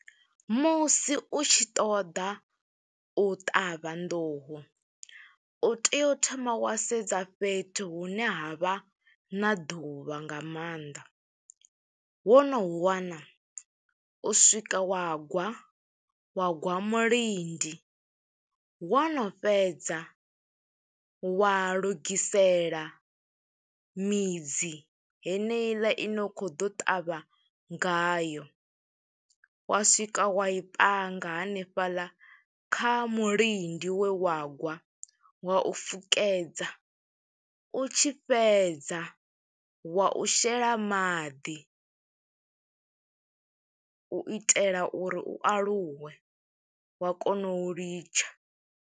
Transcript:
Musi u tshi ṱoḓa u ṱavha nḓuhu, u tea u thoma wa sedza fhethu hune ha vha na ḓuvha nga maanḓa. Wo no hu wana, u swika wa gwa, wa gwa mulindi. Wo no fhedza wa lugisela midzi heneiḽa ine u khou ḓo ṱavha ngayo, wa swika wa i panga hanefhaḽa kha mulindi we wa gwa, wa u fukedza. U tshi fhedza wa u shela maḓi, u itela uri u aluwe wa kona u litsha.